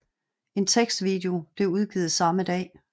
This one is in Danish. En tekstvideo blev udgivet samme dag